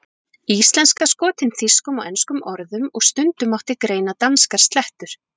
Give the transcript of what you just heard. Íslenska skotin þýskum og enskum orðum og stundum mátti greina danskar slettur.